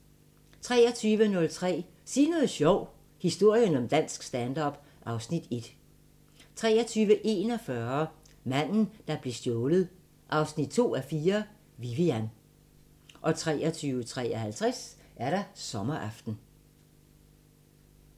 23:03: Sig noget sjovt – historien om dansk stand-up (Afs. 1) 23:41: Manden, der blev stjålet 2:4 – Vivian 23:53: Sommeraften